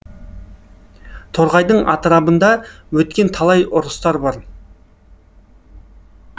торғайдың атырабында өткен талай ұрыстар бар